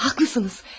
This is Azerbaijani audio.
Haklısınız.